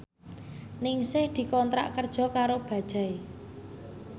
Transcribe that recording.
Ningsih dikontrak kerja karo Bajaj